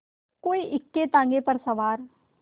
कोई इक्केताँगे पर सवार